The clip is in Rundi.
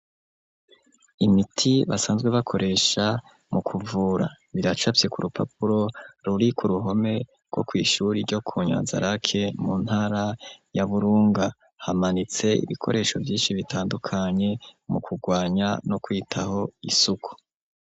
Imiti basanzwe bakoresha mu kuvura. Biracafye ku rupapuro ruri ku ruhome rwo kw'ishure ryo ku Nyanza rake, mu ntara ya Burunga. Hamanitse ibikoresho vyinshi bitandukanye, mu kugwanya no kwitaho isuku.